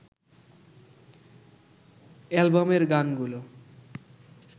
অ্যালবামের গানগুলো